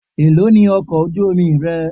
Èlóò ni owó ọkọ̀ ojú omi rẹ?